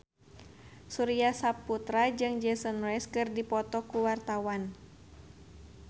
Surya Saputra jeung Jason Mraz keur dipoto ku wartawan